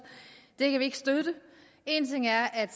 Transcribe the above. det kan vi ikke støtte en ting er at